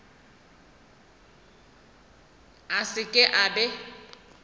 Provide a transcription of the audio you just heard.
a se ke a be